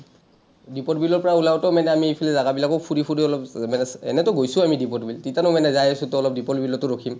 দীপৰ বিলৰ পৰা ওলাওঁতে মানে আমি এইফালে জাগা বিলাকো ফুৰি ফুৰি অলপ মানে, এনেটো গৈছো আমি দীপৰ বিল। যেতিয়া আমি যাই আছোঁ, to অলপ দীপৰ বিলতো ৰখিম।